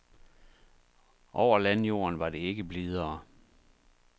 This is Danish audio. Over landjorden var det ikke blidere.